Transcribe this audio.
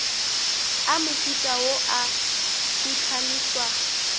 a mohuta wo a phuhlamišwa